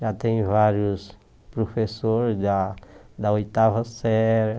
Já tem vários professores da da oitava série.